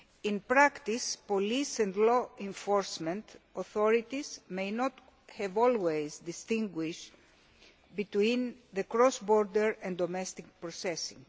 In practice, police and law enforcement authorities may not have always distinguished between cross border and domestic processing.